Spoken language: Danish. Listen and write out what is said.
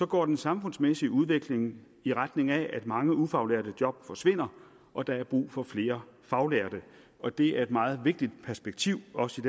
går den samfundsmæssige udvikling i retning af at mange ufaglærte job forsvinder og der er brug for flere faglærte og det er et meget vigtigt perspektiv også